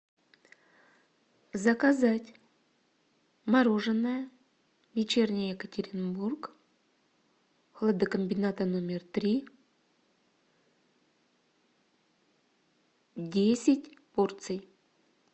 заказать мороженое вечерний екатеринбург хладокомбината номер три десять порций